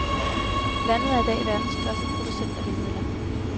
Landet er i dag verdens største producent af vindmøller.